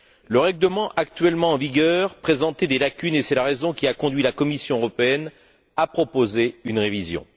Le règlement actuellement en vigueur présente des lacunes et c'est la raison qui a conduit la Commission européenne à en proposer une révision.